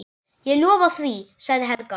Ég lofa því, sagði Helga.